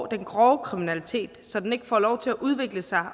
den grove kriminalitet så den ikke får lov til at udvikle sig